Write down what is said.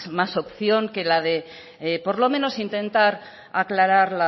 más opción que la de por lo menos intentar aclarar